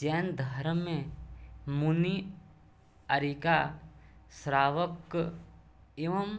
जैन धर्म में मुनि आर्यिका श्रावक एवं